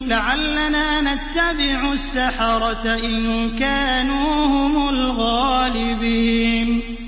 لَعَلَّنَا نَتَّبِعُ السَّحَرَةَ إِن كَانُوا هُمُ الْغَالِبِينَ